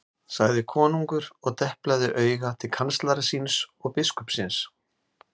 sagði konungur og deplaði auga til kanslara síns og biskupsins.